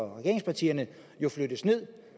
af regeringspartierne jo flyttes ned